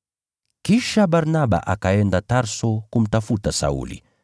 Kisha Barnaba akaenda Tarso kumtafuta Sauli,